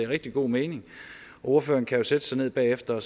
rigtig god mening og ordføreren kan jo sætte sig ned bagefter